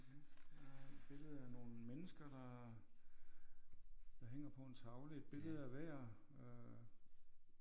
Her er et billede af nogle mennesker der der hænger på en tavle et billede af hver øh